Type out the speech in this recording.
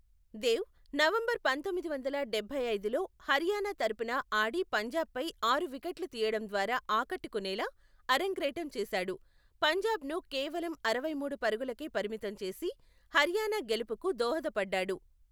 Dev November పంతొమ్మిది వందల డబ్బై ఐదులో హర్యానా తరపున ఆడి పంజాబ్పై ఆరు వికెట్లు తీయడం ద్వారా ఆకట్టుకునేలా అరంగేట్రం చేశాడు, పంజాబ్ను కేవలం అరవై మూడు పరుగులకే పరిమితం చేసి, హర్యానా గెలుపుకు దోహదపడ్డాడు.